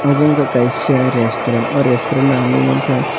abo ungka kaisa resturant o resturant o ang nog mangka.